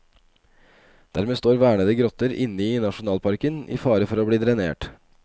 Dermed står vernede grotter inne i nasjonalparken i fare for å bli drenert.